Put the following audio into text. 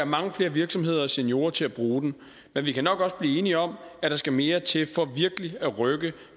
mange flere virksomheder og seniorer til at bruge den men vi kan nok også blive enige om at der skal mere til for virkelig at rykke